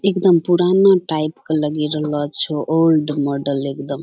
एकदम पुराना टाइप के लगि रहलो छो ओल्ड माॅडल एकदम।